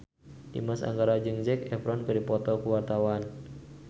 Dimas Anggara jeung Zac Efron keur dipoto ku wartawan